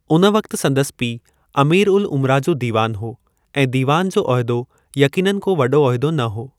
उन वक़्तु संदसि पीउ अमीर-उल-उमरा जो दीवान हो ऐं दीवान जो उहिदो यकीनन को वॾो उहिदो न हो।